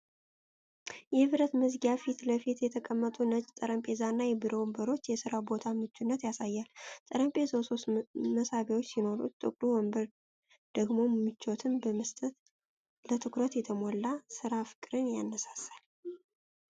የብረት መዝጊያ ፊት ለፊት የተቀመጠው ነጭ ጠረጴዛና የቢሮ ወንበር፣ የሥራ ቦታን ምቹነት ያሳያሉ። ጠረጴዛው ሶስት መሳቢያዎች ሲኖሩት፣ ጥቁሩ ወንበር ደግሞ ምቾትን በመስጠት ለትኩረት የተሞላ ሥራ ፍቅርን ያነሳሳል